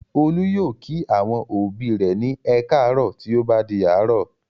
Olú yóò kí àwọn òbí rẹ̀ ní "ẹ káàárọ̀" tí ó bá di àárọ̀.